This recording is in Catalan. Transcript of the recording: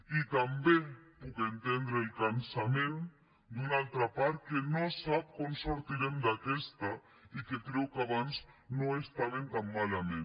i també puc entendre el cansament d’una altra part que no sap com sortirem d’aquesta i que creu que abans no estàvem tan malament